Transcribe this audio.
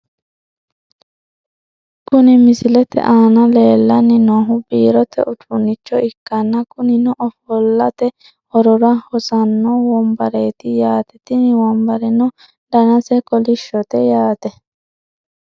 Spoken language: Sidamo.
Kuni misilete aana leellanni noohu biirote uduunicho ikkanna, kunino ofo'late horora hossanno wombareeti yaate, tini wombareno danase kolishshote yaate .